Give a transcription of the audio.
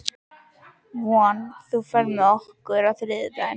Von, ferð þú með okkur á þriðjudaginn?